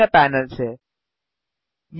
properties window में विभिन्न panels हैं